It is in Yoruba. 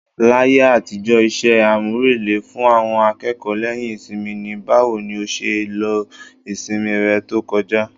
Láyé àtijọ́, iṣẹ́ àmúrelé fún àwọn akẹ́kọ̀ọ́ lẹ́yìn ìsinmi ni "Báwo ni ó ṣe lo ìsinmi rẹ tó kọjá?"